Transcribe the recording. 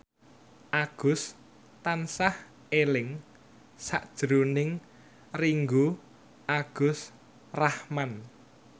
Agus tansah eling sakjroning Ringgo Agus Rahman